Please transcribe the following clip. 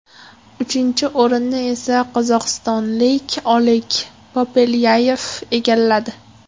Uchinchi o‘rinni esa qozog‘istonlik Oleg Popelyayev egalladi.